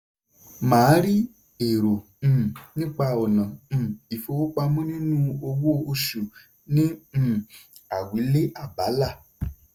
màá rí èrò um nípa ọ̀nà um ìfowópamọ́ nínú owó-oṣù ní um àwílé abala.